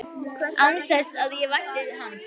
Án þess að ég vænti hans.